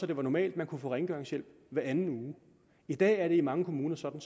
det var normalt at man kunne få rengøringshjælp hver anden uge i dag er det i mange kommuner sådan